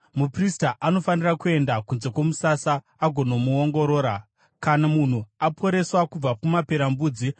Muprista anofanira kuenda kunze kwomusasa agonomuongorora. Kana munhu aporeswa kubva kumaperembudzi,